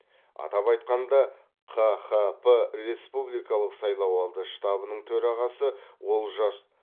атап айтқанда қхп республикалық сайлауалды штабының төрағасы олжас